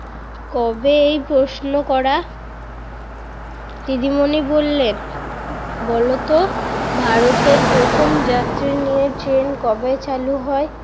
কবে এই প্রশ্ন করা দিদিমণি বললেন, ভারতের প্রথম যাত্রী নিয়ে ট্রেন কবে চালু হয়?